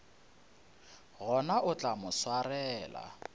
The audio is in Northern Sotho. gona o tla mo swarela